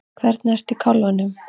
Hvernig ertu í kálfanum?